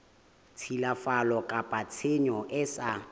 tshilafatso kapa tshenyo e sa